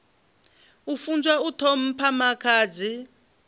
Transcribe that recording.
a funzwa u ṱhompha makhadzi